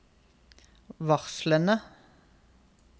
varslene